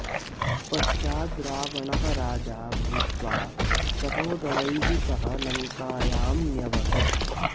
पश्चाद् रावणः राजा भूत्वा सहोदरैः सह लङ्कायां न्यवसत्